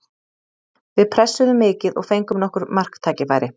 Við pressuðum mikið og fengum nokkur marktækifæri.